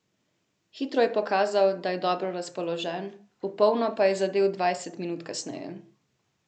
Hitro je pokazal, da je dobro razpoložen, v polno pa je zadel dvajset minut kasneje.